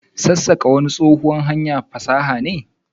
sassaka wani tsohuwan hanyar fasaha ne.